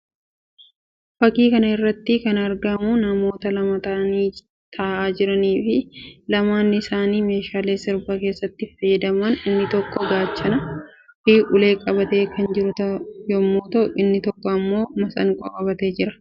Fakkii kana irratti kan argamu namoota lama ta'uun taa'aa jiranii fi lamaan isaanii meeshaalee sirba keessatti fayyadaman inni tokko gaachanaa fi ulee qabatee kan jiru yammuu ta'u; inni tokko immoo masiinqoo qabatee jira.